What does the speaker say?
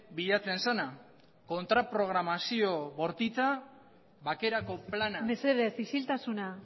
bilatzen zena kontraprogramazio bortitza bakerako plana mesedez isiltasuna